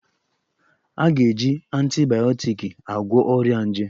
A ga-eji antibayọtiki agwọ ọrịa nje